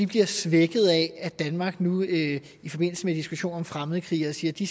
bliver svækket af at danmark nu i forbindelse med diskussionen om fremmedkrigere siger at de